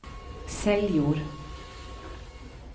Seljord